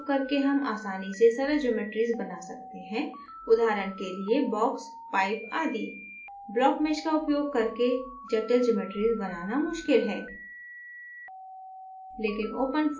blockmesh का उपयोग करके हम आसानी से सरल geometries बना सकते हैं उदाहरण के लिएbox pipe आदि blockmesh का उपयोग करके जटिल geometries बनाना मुश्किल है